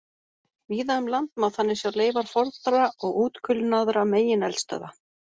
Víða um land má þannig sjá leifar fornra og útkulnaðra megineldstöðva.